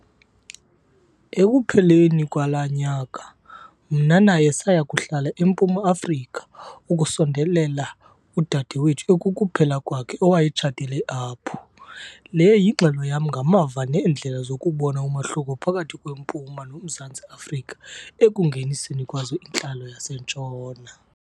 Ekupheleni kwala nyaka, mna naye saya kuhlala eMpuma Afrika, ukusondelela udadewethu ekukuphela kwakhe owayetshatele apho. Le yingxelo yam ngamava neendlela zokubona umahluko phakathi kweMpuma noMzantsi Afrika ekungeniseni kwazo intlalo yaseNtshona.